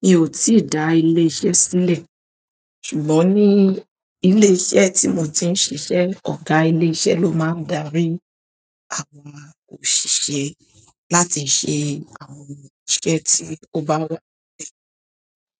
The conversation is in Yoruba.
Mi ò tí da ilé iṣẹ́ sílẹ̀, ṣùgbọ́n ní ilé iṣẹ́ tí mo ti ń ṣiṣẹ́, ọ̀gá ilé iṣẹ́ ló máa ń darí àwọn òṣìṣẹ́ láti ṣe àwọn iṣẹ́ tí ó bá wá.